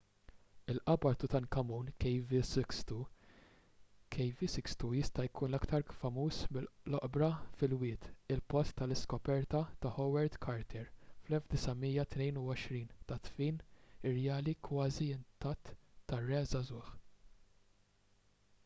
il-qabar ta' tutankhamun kv62. kv62 jista' jkun l-aktar famuż mill-oqbra fil-wied il-post tal-iskoperta ta' howard carter fl-1922 tad-dfin irjali kważi intatt tar-re żagħżugħ